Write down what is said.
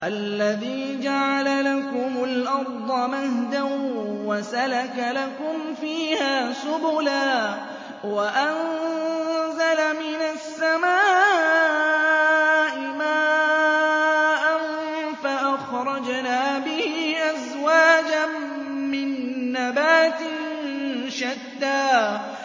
الَّذِي جَعَلَ لَكُمُ الْأَرْضَ مَهْدًا وَسَلَكَ لَكُمْ فِيهَا سُبُلًا وَأَنزَلَ مِنَ السَّمَاءِ مَاءً فَأَخْرَجْنَا بِهِ أَزْوَاجًا مِّن نَّبَاتٍ شَتَّىٰ